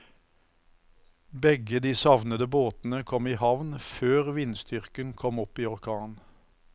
Begge de savnede båtene kom i havn før vindstyrken kom opp i orkan.